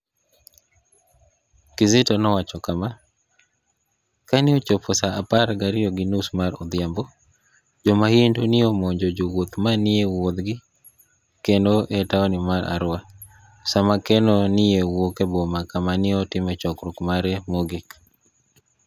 Kizito nowacho kama, "Kani e ochopo sa apar gariyo gi nius mar odhiambo, jo mahunidu ni e omonijo jowuoth ma ni e wuotho gi kerno e taoni mar Arua, sama kerno ni e wuok e Boma kama ni e otimoe chokruok mare mogik.